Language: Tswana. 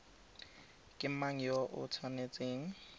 ke mang yo o tshwanetseng